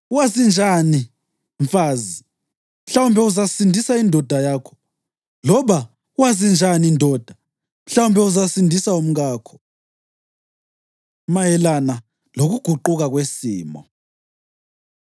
Wazi njani, mfazi, mhlawumbe uzasindisa indoda yakho? Loba, wazi njani ndoda, mhlawumbe uzasindisa umkakho? Mayelana Lokuguquka Kwesimo